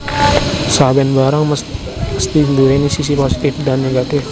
Saben barang mesti nduwèni sisi positif dan negatif